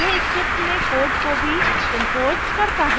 यह script में code को भी imports करता है